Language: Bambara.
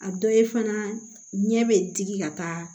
A dɔ ye fana ɲɛ bɛ digi ka taa